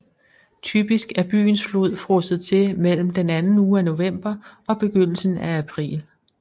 Typisk er byens flod frosset til mellem den anden uge af november og begyndelsen af april